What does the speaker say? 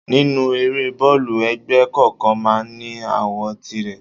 Nínú eré boolu, ẹgbẹ́ kọ̀ọ̀kan máa ń ní àwo tìrẹ.